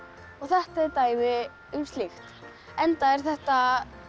og þetta er dæmi um slíkt enda er þetta